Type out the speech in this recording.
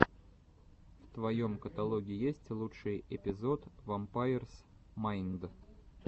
в твоем каталоге есть лучший эпизод вампайрс майнд